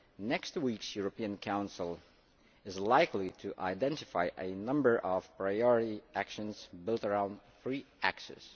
Next week's European Council is likely to identify a number of priority actions built around three axes.